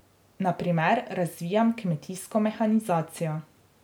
Na primer razvijam kmetijsko mehanizacijo.